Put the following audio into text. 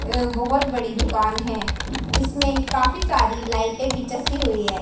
ये बहोत बड़ी दुकान है इसमे काफी सारी लाइटे भी चसी हुई है।